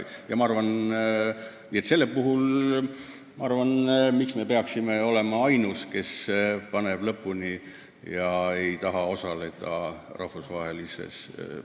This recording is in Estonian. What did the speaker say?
Selle konventsiooni puhul ma ei näe põhjust edasi venitada ja teada anda, et Eesti ei taha osaleda rahvusvahelises konventsioonis.